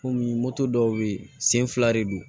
Kɔmi moto dɔw bɛ ye sen fila de don